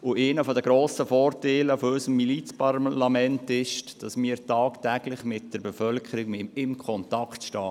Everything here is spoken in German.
Einer der grossen Vorteile unseres Milizparlaments besteht darin, dass wir tagtäglich mit der Bevölkerung in Kontakt stehen.